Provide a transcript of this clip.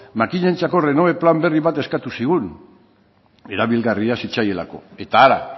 makinentzako renove plan berri bat eskatu zigun erabilgarria zitzaielako eta hara